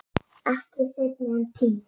Ekki seinna en tíu.